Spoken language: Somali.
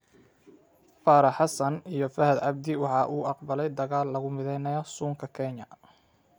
Farax xassan iyo faxad cabdi waxa uu aqbalay dagaal lagu midaynayo suunka kenya.